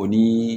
O ni